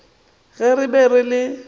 ge re be re le